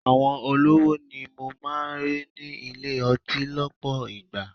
Àwọn olówó ni mo máa ń rí ní ilé-ọtí lọpọ ìgbà.